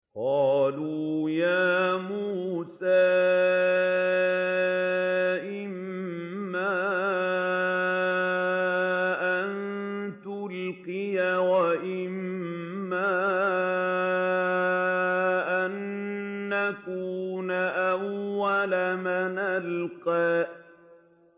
قَالُوا يَا مُوسَىٰ إِمَّا أَن تُلْقِيَ وَإِمَّا أَن نَّكُونَ أَوَّلَ مَنْ أَلْقَىٰ